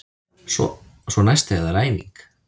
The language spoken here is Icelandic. Svo næst þegar það er æfing.